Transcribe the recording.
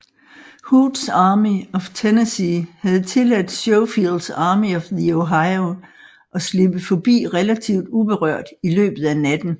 Hoods Army of Tennessee havde tilladt Schofields Army of the Ohio at slippe forbi relativt uberørt i løbet af natten